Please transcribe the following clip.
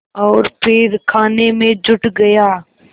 और फिर खाने में जुट गया